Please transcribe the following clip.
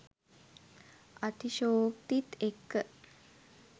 අතිශෝක්තිත් එක්ක .